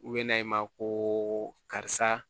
U bɛ na i ma ko karisa